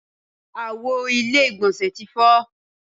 Àwo ilé ìgbọ̀nsẹ̀ ti fọ́.